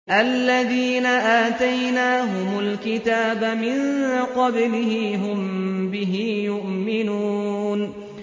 الَّذِينَ آتَيْنَاهُمُ الْكِتَابَ مِن قَبْلِهِ هُم بِهِ يُؤْمِنُونَ